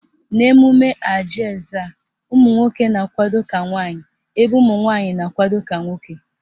N'emume Ajị Ezza, ụmụnwoke na-akwado ka nwaanyị ebe ụmụnwanyị na-akwado ka nwoke